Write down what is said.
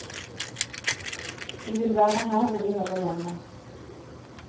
Vi vil være her hvor vi hører hjemme.